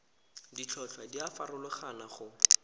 ditlhotlhwa di a farologana go